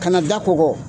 Kana da kɔgɔ